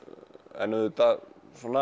en auðvitað